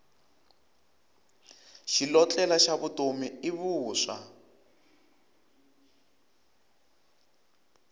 xilotlela xa vutomi i vuswa